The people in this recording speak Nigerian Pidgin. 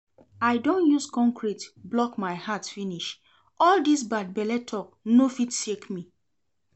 I don use concrete block my heart finish, all dis bad belle talk no fit shake me